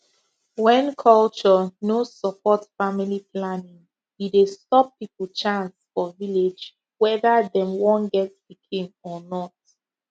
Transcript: when culture no support family planning e dey stop people chance for village whether dem wan get pikin or not